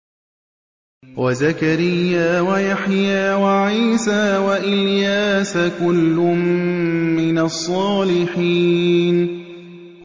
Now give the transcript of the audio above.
وَزَكَرِيَّا وَيَحْيَىٰ وَعِيسَىٰ وَإِلْيَاسَ ۖ كُلٌّ مِّنَ الصَّالِحِينَ